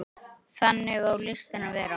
Þannig á listin að vera.